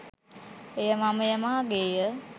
එය මමය, මාගේ ය,